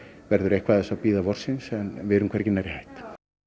verður eitthvað af þessu að bíða vorsins en við erum hvergi nærri hætt